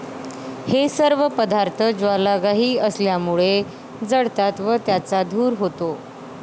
हे सर्व पदार्थ ज्वालाग्राही असल्यामुळे जळतात व त्याचा धूर होतो.